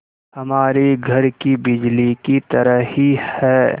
हमारे घर की बिजली की तरह ही है